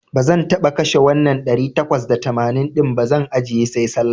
Bazan taba kashe wannan ɗari takwas da tamanin din ba, zan ajjiye sai Sallah.